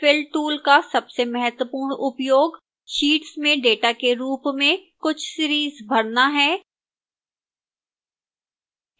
fill tool का सबसे महत्वपूर्ण उपयोग sheets में data के रूप में कुछ series भरना है